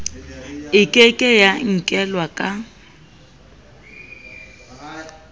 e ke ke ya inkelwaka